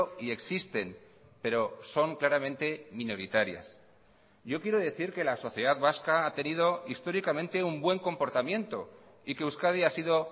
y existen pero son claramente minoritarias yo quiero decir que la sociedad vasca ha tenido históricamente un buen comportamiento y que euskadi ha sido